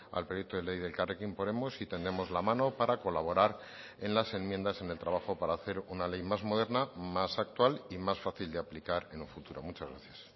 al proyecto de ley de elkarrekin podemos y tendemos la mano para colaborar en las enmiendas en el trabajo para hacer una ley más moderna más actual y más fácil de aplicar en un futuro muchas gracias